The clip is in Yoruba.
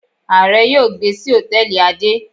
Aare yóò gbe si hòtẹ́ẹ̀lì ade.